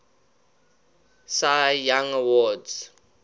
cy young awards